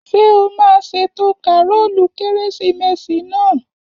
Ṣé o máa ṣètò kàrólù kérésìmesì náà?